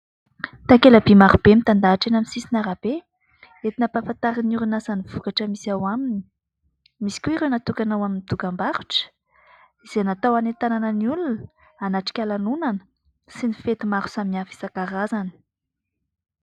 Takela-by marobe mitandahatra eny amin'ny sisin'arabe entina hampafantarin'ny orinasa ny vokatra misy ao aminy ; misy koa ireo natokana ao amin'ny dokam-barotra izay natao any an-tanana ny olona hanatrika lanonana sy ny fety maro samihafa isankarazany.